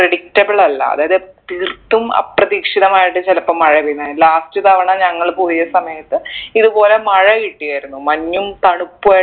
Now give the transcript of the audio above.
predictable അല്ല അതായത് തീർത്തും അപ്രതീക്ഷിതമായിട്ട് ചിലപ്പൊ മഴ പെയ്യുന്നെ last തവണ ഞങ്ങൾ പോയ സമയത്ത് ഇത്പോലെ മഴ കിട്ടിയിരുന്നു മഞ്ഞും തണുപ്പു